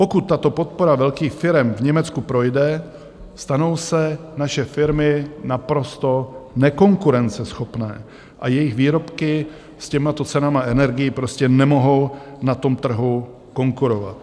Pokud tato podpora velkých firem v Německu projde, stanou se naše firmy naprosto nekonkurenceschopné a jejich výrobky s těmito cenami energií prostě nemohou na tom trhu konkurovat.